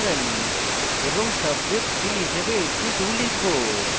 subject 3 হিসাবে 82 লিখব